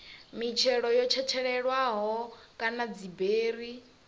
mitshelo yo tshetshelelwaho kana dziberi